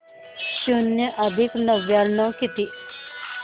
शून्य अधिक नव्याण्णव किती